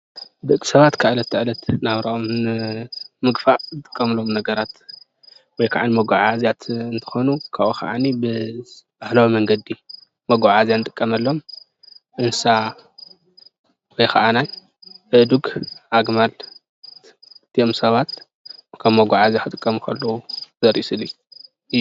ደቂ ሰባት ካብ ዕለት ናብ ዕለት ናብርኦም ንምግፋእ ዝጥቀሙሎም ነገራት ወይ ከዓ ንመጓዓዓዝያት እንትኮን፤ ካብኡ ከዓኒ ብባህላዊ መንገዲ መጓዓዓዝያ እንጥቀመሎም እንስሳ ወይ ከዓነ አእዱግ፣ ኣግማል እዞም ሰባት ከም መጓዓዝያ ክጥቀሙ ከለው ዘርኢ ስእሊ እዩ፡፡